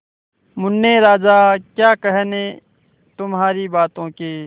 मुन्ने राजा क्या कहने तुम्हारी बातों के